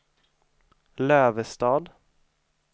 Lövestad